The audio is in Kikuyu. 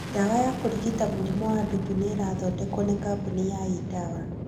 Dawa ya kũrigita mũrimũ wa ndutu nĩ ĩrathondekwo nĩ Kambuni ya E-dawa